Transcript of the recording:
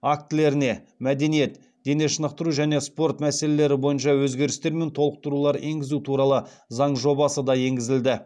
актілеріне мәдениет дене шынықтыру және спорт мәселелері бойынша өзгерістер мен толықтырулар енгізу туралы заң жобасы да енгізілді